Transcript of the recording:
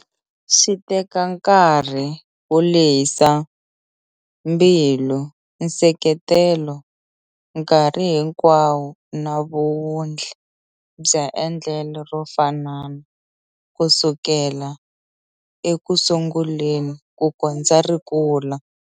Swi teka nkarhi, ku lehisa mbilu, nseketelo nkarhi hinkwayo na vuwundli bya endlelo ro fanana kusukela ekusunguleni kukondza ri kula.